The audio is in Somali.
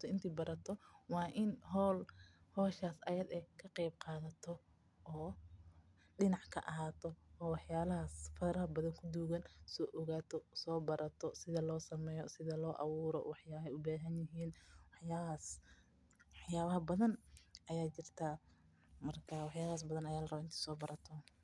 qeeb qaato, waa in howshaa aad ka qeeb qaadato, wax yaaba badan ayaa jirtaa, marka waa inaad soo barato.